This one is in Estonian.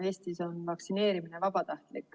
Eestis on vaktsineerimine vabatahtlik.